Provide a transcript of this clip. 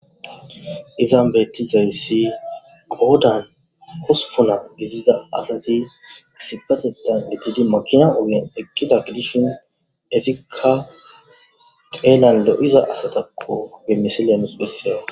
Izan betizaysi asati qodan hospuna gidiza asati issipetethan shiqid makina ogen eqida gidishin etika xelan lo'iza asatako he misilen besiyay